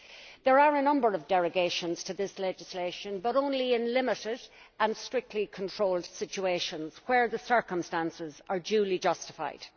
There are a number of derogations from this legislation but only in limited and strictly controlled situations where the circumstances are duly justified.